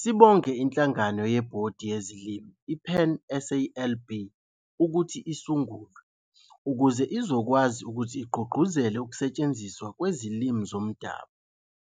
Sibonge inhlanagano yebhodi yezolimi i PanSALB ukuthi isungulwe ukuze izokwazi ukuthi igqugquzele ukusetshenziswa kwezilimi zomdabu